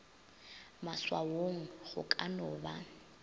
maswaong go ka no ba